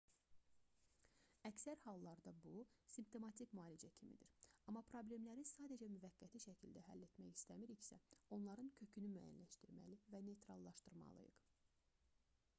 əksər hallarda bu simptomatik müalicə kimidir amma problemləri sadəcə müvəqqəti şəkildə həll etmək istəmiriksə onların kökünü müəyyənləşdirməli və neytrallaşdırmalıyıq